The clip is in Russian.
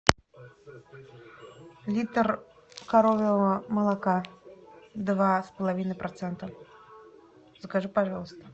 литр коровьего молока два с половиной процента закажи пожалуйста